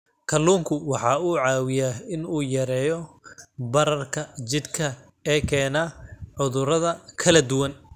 Kalluunku waxa uu caawiyaa in uu yareeyo bararka jidhka ee keena cudurro kala duwan.